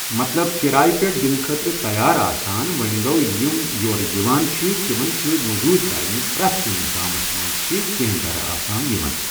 مطلب کرایہ پٮ۪ٹھ دِنہٕ خٲطرٕ تیار آسان وۄنۍ گوٚو یِم یور یِوان چھ تِمن چھِ موٚزوٗرۍ کرٕنۍ پرٛٮ۪تھ کُنہِ گامَس منٛز چھِ کٮ۪نٛہہ گرٕ آسان یِمَن